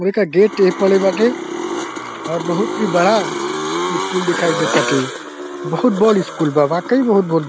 gate एही पड़े बाटे और बहुत ही बड़ा स्कूल दिखाई दे टाटे बहुत बड़ स्कूल बा वाकई बहुत ब --